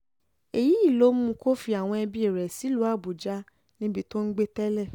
èyí ló mú kó fi àwọn ẹbí rẹ̀ sílùú àbújá níbi tó ń gbé tẹ́lẹ̀